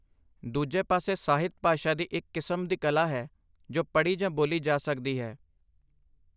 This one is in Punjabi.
ਦੂਜੇ ਪਾਸੇ ਸਾਹਿਤ, ਭਾਸ਼ਾ ਦੀ ਇੱਕ ਕਿਸਮ ਦੀ ਕਲਾ ਹੈ ਜੋ ਪੜ੍ਹੀ ਜਾਂ ਬੋਲੀ ਜਾ ਸਕਦੀ ਹੈ।